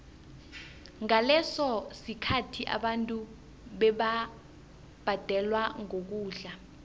ngaleso sikhathi abantu bebabhadelwa ngokudla